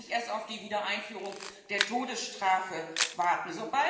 wir müssen da nicht erst auf die Wiedereinführung der Todesstrafe warten.